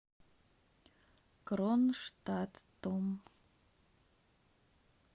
кронштадтом